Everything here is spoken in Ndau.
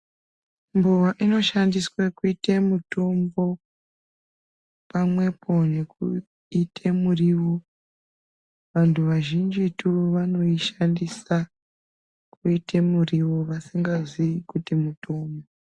Mbowa inoshandiswe kuita mutombo, pamwepo nekuita muriwo. Vantu vazhinjitu vanoishandisa kuite muriwo vasingaziyi kuti mutombo.